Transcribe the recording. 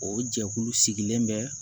O jɛkulu sigilen bɛ